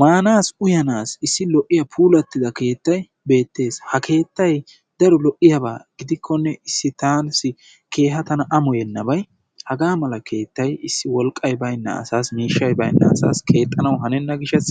Maanaassi uyanaassi issi daro lo''iya puulatida keettay beettees. Ha keettay daro lo''iyaba gidikkonee issi taassi keeha tana ammoyennabay hagaa mala keettay issi wolqqay baynna asaassi miishshay baynna asaass keexxanawu hanenna gishshaas